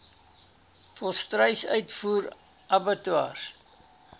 volstruis uitvoer abattoirs